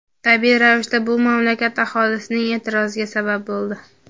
Tabiiy ravishda bu mamlakat aholisining e’tiroziga sabab bo‘ldi.